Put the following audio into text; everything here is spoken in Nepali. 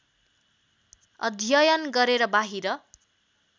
अध्ययन गरेर बाहिर